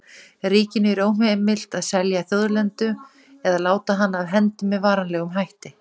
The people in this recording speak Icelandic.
Ríkinu er óheimilt að selja þjóðlendu eða láta hana af hendi með varanlegum hætti.